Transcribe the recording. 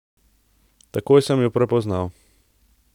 Takoj sem ju prepoznal.